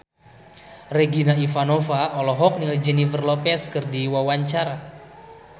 Regina Ivanova olohok ningali Jennifer Lopez keur diwawancara